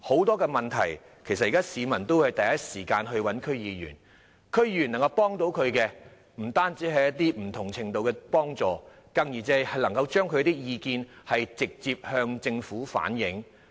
當發生問題時，很多市民都會第一時間找區議員，區議員不但能向他們提供不同程度的幫助，更可以將他們的意見直接向政府反映。